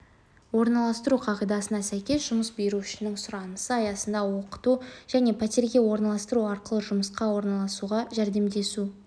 орналастыру қағидасына сәйкес жұмыс берушінің сұранысы аясында оқыту және пәтерге орналастыру арқылы жұмысқа орналасуға жәрдемдесу